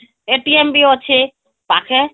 ବି ଅଛେ ପାଖେ